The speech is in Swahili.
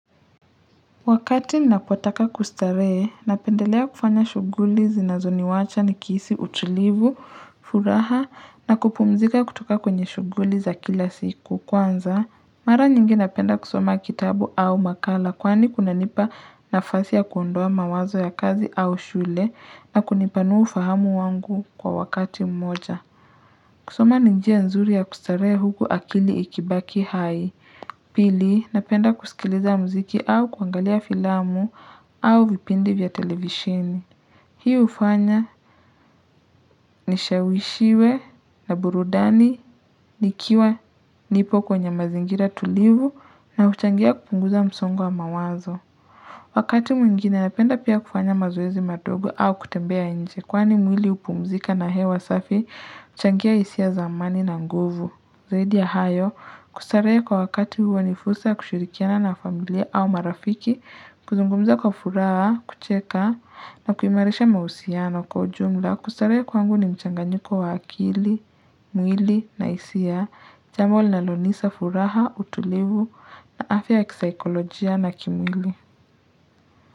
Wakati napotaka kustarehe, napendelea kufanya shughuli zinazo ni wacha ni kihisi utulivu, furaha na kupumzika kutoka kwenye shughuli za kila siku. Kwanza, mara nyingi napenda kusoma kitabu au makala kwani kunanipa nafasi ya kuondoa mawazo ya kazi au shule na kunipanua ufahamu wangu kwa wakati mmoja. Kusoma ni njia nzuri ya kustarehe huku akili ikibaki hai. Pili, napenda kusikiliza mziki au kuangalia filamu au vipindi vya televisheni. Hii hufanya nishawishiwe na burudani nikiwa nipo kwenye mazingira tulivu na huchangia kupunguza msongo wa mawazo. Wakati mwingine napenda pia kufanya mazoezi madogo au kutembea nje kwani mwili hupumzika na hewa safi huchangia hisia za amani na nguvu. Zaidi ya hayo, kustarehe kwa wakati huwa ni fursa ya kushirikiana na familia au marafiki, kuzungumza kwa furaha, kucheka, na kuimarisha mahusiano kwa ujumla, kustarehe kwangu ni mchanganyiko wa akili, mwili, na hisia, jambo linalonisa furaha, utulivu, na afya ya kisaikolojia na kimwili.